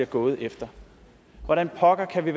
går efter hvordan pokker kan vi